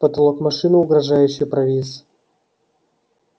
потолок машины угрожающе провис